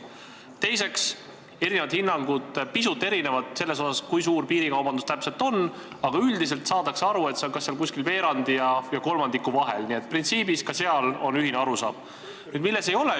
Teiseks, pisut erinevad hinnangud selle kohta, kui suur piirikaubandus täpselt on, aga üldiselt saadakse aru, et see on veerandi ja kolmandiku vahel, nii et printsiibis on ka seal ühine arusaam.